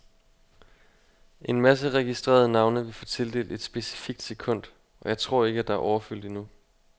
En masse registrerede navne vil få tildelt et specifikt sekund, og jeg tror ikke, at der er overfyldt endnu.